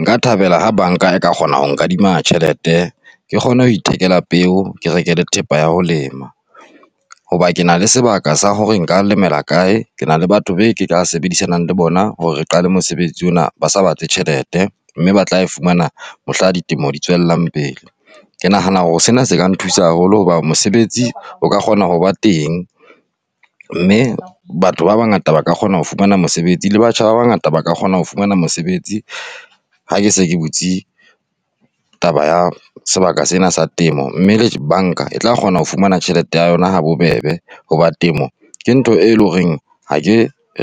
Nka thabela ha banka e ka kgona ho nkadima tjhelete, ke kgone ho ithekela peo, ke reke le thepa ya ho lema. Hoba ke na le sebaka sa hore nka lemela kae. Ke na le batho be ke ka sebedisanang le bona hore re qale mosebetsi ona ba sa batle tjhelete mme ba tla e fumana mohlang ditemo di tswellang pele. Ke nahana hore sena se ka nthusa haholo hoba mosebetsi o ka kgona ho ba teng, mme batho ba bangata ba ka kgona ho fumana mosebetsi le batjha ba bangata ba ka kgona ho fumana mosebetsi ha ke se ke butse taba ya sebaka sena sa temo, mme le banka e tla kgona ho fumana tjhelete ya yona ha bobebe. Hoba temo ke ntho e leng hore ha ke